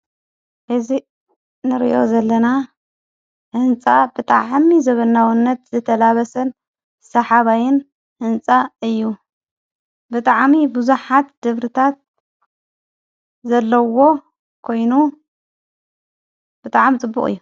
ሕዚ ንርዮ ዘለና ሕንፃ ብጥዕ ሕሚ ዘበናዉነት ዘተላበሰን ሠሓባይን ሕንፃ እዩ ብጥዓሚ ብዙኃት ድብርታት ዘለዎ ኮይኑ ብጥዓሚ ጥቡቕ እዩ።